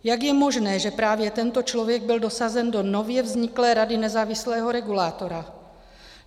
Jak je možné, že právě tento člověk byl dosazen do nově vzniklé rady nezávislého regulátora?